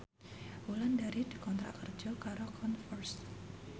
Wulandari dikontrak kerja karo Converse